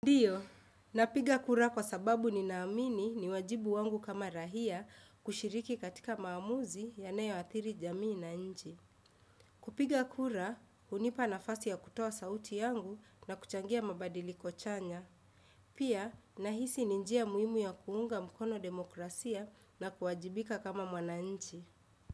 Ndiyo, napiga kura kwa sababu ni naamini ni wajibu wangu kama raia kushiriki katika maamuzi yanayo athiri jamii na nchi. Kupiga kura, hunipa nafasi ya kutoa sauti yangu na kuchangia mabadiliko chanya. Pia, nahisi ni njia muhimu ya kuunga mkono demokrasia na kuwajibika kama mwananchi.